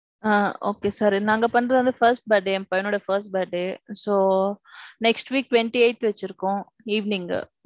ஆ Okay sir. நாங்க பண்றது வந்து first birthday என் பையனோட first birthday. so, next week twenty eighth வச்சிருக்கோம் evening.